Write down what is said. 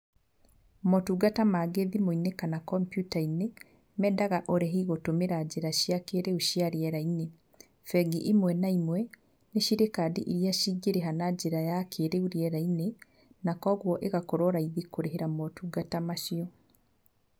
Motungata mangĩ thimũ-inĩ kana computer -inĩ, mendaga ũrĩhi gũtũmĩra njĩra cia kĩrĩu cia rĩera-inĩ. Bengi imwe na imwe, nĩ cirĩ kandi irĩa cingĩrĩha na njĩra ya kĩrĩu rĩera-inĩ, koguo igakorwo raithi kũrĩhĩra motungata macio.